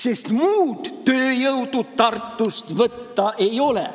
Sest muud tööjõudu Tartust võtta ei ole.